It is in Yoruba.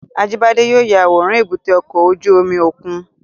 Ajibade yóò ya aworan èbúté ọkọ ojú omi okun